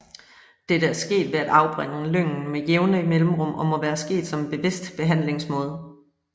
Dette er sket ved at afbrænde lyngen med jævne mellemrum og må være sket som en bevidst behandlingsmåde